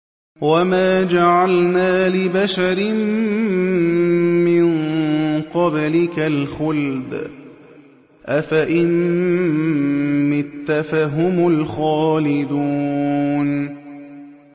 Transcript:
وَمَا جَعَلْنَا لِبَشَرٍ مِّن قَبْلِكَ الْخُلْدَ ۖ أَفَإِن مِّتَّ فَهُمُ الْخَالِدُونَ